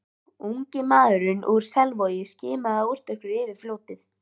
Ungi maðurinn úr Selvogi skimaði óstyrkur yfir fljótið.